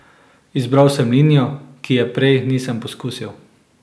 Izbral sem linijo, ki je prej nisem poskusil.